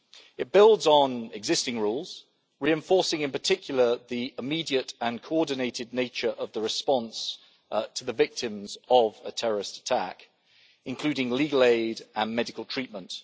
It builds on existing rules, reinforcing in particular the immediate and coordinated nature of the response to victims of a terrorist attack, including legal aid and medical treatment.